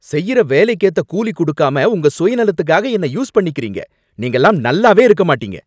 செய்யுற வேலைக்கேத்த கூலி கொடுக்காம உங்க சுயநலத்துக்காக என்ன யூஸ் பண்ணிக்கறீங்க, நீங்கலாம் நல்லாவே இருக்க மாட்டீங்க